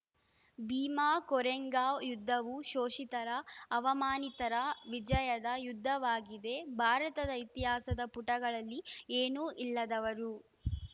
ಭೀಮಾ ಕೊರೆಂಗಾವ್‌ ಯುದ್ಧವು ಶೋಷಿತರ ಅವಮಾನಿತರ ವಿಜಯದ ಯುದ್ದವಾಗಿದೆ ಭಾರತದ ಇತಿಹಾಸದ ಪುಟಗಳಲ್ಲಿ ಏನೂ ಇಲ್ಲದವರು